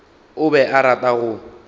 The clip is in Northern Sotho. o be a rata go